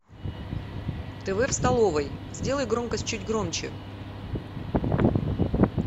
тв в столовой сделай громкость чуть громче